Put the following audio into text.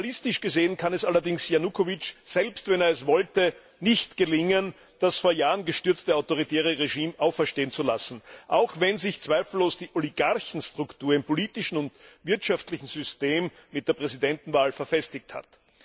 Realistisch gesehen kann es allerdings Janukowitsch selbst wenn er es wollte nicht gelingen, das vor Jahren gestürzte autoritäre Regime auferstehen zu lassen, auch wenn sich zweifellos die Oligarchiestruktur im politischen und wirtschaftlichen System mit der Präsidentenwahl verfestigt hat.